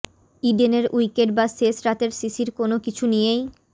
ইডেনের wicket বা শেষ রাতের শিশির কোনও কিছু নিয়েই